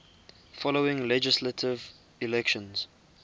following legislative elections